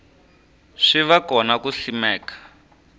swi va kona ku simeka